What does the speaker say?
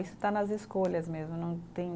Isso está nas escolhas mesmo, não tem